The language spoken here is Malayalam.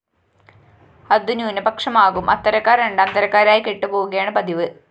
അതു ന്യൂനപക്ഷമാകും അത്തരക്കാര്‍ രണ്ടാം തരക്കാരായി കെട്ടുപോകുകയാണ് പതിവ്